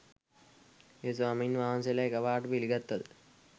ඒ ස්වාමීන් වහන්සේලා එකපාරට පිළිගත්තද?